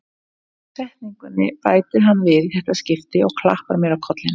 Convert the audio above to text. Síðustu setningunni bætir hann við í þetta skipti og klappar mér á kollinn.